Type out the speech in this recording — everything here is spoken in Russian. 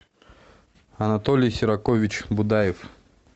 анатолий серакович будаев